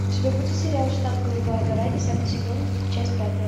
у тебя будет сериал штат голубая гора десятый сезон часть пятая